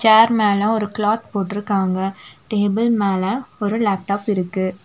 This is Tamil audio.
சேர் மேல ஒரு கிலாத் போட்ருக்காங்க டேபிள் மேல ஒரு லேப்டாப் இருக்கு.